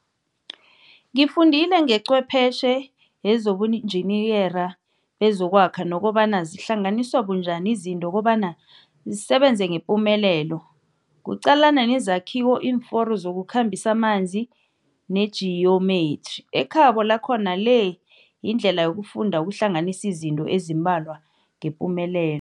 Ngifundile ngecwephetjhe yezobunjiniyera bezokwakha nokobana zihlanganiswa bunjani izinto kobana zisebenze ngepumelelelo. Kuqalana nezakhiwo, iimforo zokukhambisa amanzi nejiyomethri. Ekhabo lakhona le yindlela yokufunda ukuhlanganisa izinto ezimbalwa ngepumelel